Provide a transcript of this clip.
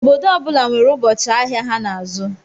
Obodo ọbula nwèrè ụbọchị ahịa ha n'azụ.